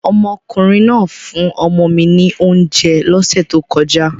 Omokunrin naa fun omo mi ni ounje lose to koja